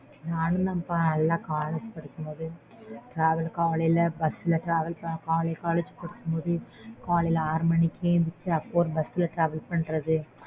நானும் தான் பா நல்ல college படிக்கும்போது காலைல bus travel பண்ணி காலைல collge போகும்போது